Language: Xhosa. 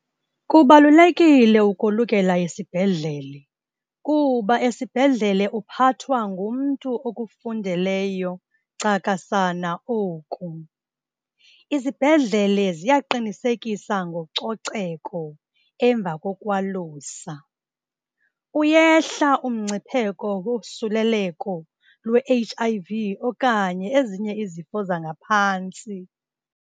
Kubalulekile ukolukela esibhedlele kuba esibhedlele uphathwa ngumntu okufundeleyo cakasana oku. Izibhedlele ziyaqinisekisa ngococeko emva kokwalusa. Uyehla umngcipheko wosuleleko lwe-H_I_V okanye ezinye izifo zangaphantsi.